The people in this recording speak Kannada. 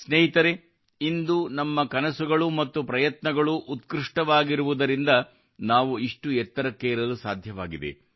ಸ್ನೇಹಿತರೇ ಇಂದು ನಮ್ಮ ಕನಸುಗಳು ಮತ್ತು ಪ್ರಯತ್ನಗಳೂ ಉತ್ಕೃಷ್ಟವಾಗಿರುವುದರಿಂದಲೇ ನಾವು ಇಷ್ಟು ಎತ್ತರಕ್ಕೇರಲು ಸಾಧ್ಯವಾಗಿದೆ